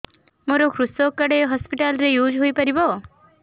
ମୋର କୃଷକ କାର୍ଡ ଏ ହସପିଟାଲ ରେ ୟୁଜ଼ ହୋଇପାରିବ